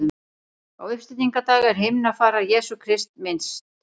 Á uppstigningardag er himnafarar Jesú Krists minnst.